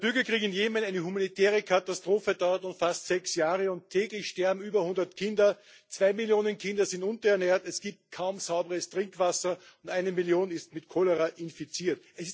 Der Bürgerkrieg in Jemen eine humanitäre Katastrophe dauert nun fast sechs Jahre, und täglich sterben über hundert Kinder, zwei Millionen Kinder sind unterernährt, es gibt kaum sauberes Trinkwasser und eine Million ist mit Cholera infiziert.